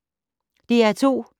DR P2